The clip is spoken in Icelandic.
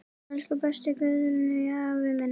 Elsku besti Guðni afi minn.